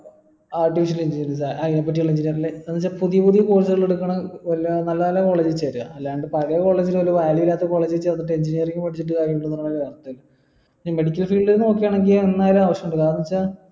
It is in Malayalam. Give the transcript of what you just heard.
artificial intelligence അയിനെ പറ്റി അതിന്റെ പുതിയ പുതിയ course ഒക്കെ എടുക്കണ വല്ല നല്ല നല്ല college കളിൽ ചേര അല്ലാണ്ട് പഴയെ college ൽ ഒരു കാര്യോ ഇല്ലാത്ത college ചേർന്നിട്ട് engineering പഠിച്ചിട് കാര്യിണ്ടോ ഈ medical field നോക്കാണെങ്കിൽ എന്നായാലും ആവിശ്യം വരും കാരണം വെച്ച